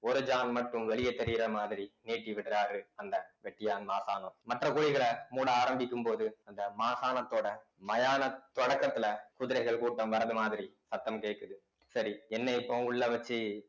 ஒரு ஜான் மட்டும் வெளியே தெரியிற மாதிரி நீட்டி விடுறாரு அந்த வெட்டியான் மசாணோம் மற்ற குழிகள மூட ஆரம்பிக்கும் போது அந்த மசாணத்தோட மயான தொடக்கத்துல குதிரைகள் கூட்டம் வர்றது மாதிரி சத்தம் கேட்குது சரி என்னைய இப்ப உள்ள வச்சு